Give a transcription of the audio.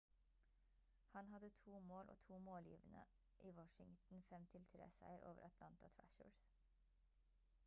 han hadde to mål og to målgivende i washingtons 5-3 seier over atlanta thrashers